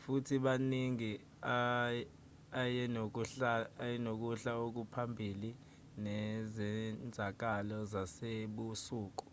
futhi kaningi ayenokuhla okuphambili nezenzakalo zasebusuku